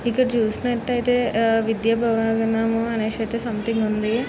ఇక్కడ చూసినటు ఐతే విద్య భవన్ అనేది సంథింగ్ ఉంది .